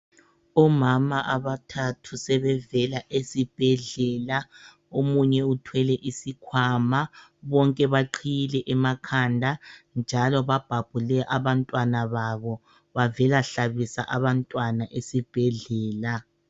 Omama abathathu sebevela esibhedlela. Omunye uthwele izikhwama bonke baqhiyile emakhanda njalo babhabhule abantwana. Bavela hlabisa abantwana esibhedlela.